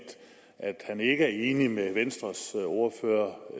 han ikke er enig med venstres ordfører